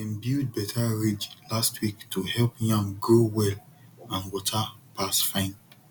dem build better ridge last week to help yam grow well and water pass fine